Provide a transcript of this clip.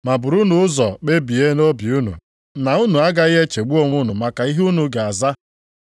Ma burunu ụzọ kpebie nʼobi unu na unu agaghị echegbu onwe unu maka ihe unu ga-aza.